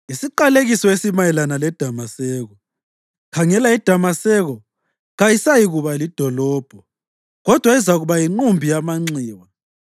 Isiqalekiso esimayelana leDamaseko: “Khangela iDamaseko kayisayikuba lidolobho kodwa izakuba yinqumbi yamanxiwa.